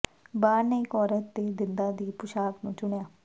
ਬਾਰ ਨੇ ਇਕ ਔਰਤ ਦੇ ਦੰਦਾਂ ਦੀ ਪੋਸ਼ਾਕ ਨੂੰ ਚੁਣਿਆ